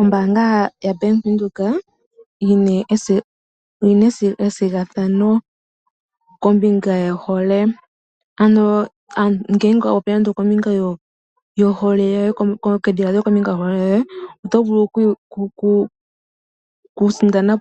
Ombanga ya Bank Windhoek oyina ethigathano kombinga yo hole ano ngenge oto popi nando kombinga yo hole yoye. Oto vulu okwi sindanena